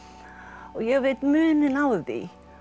og ég veit muninn á því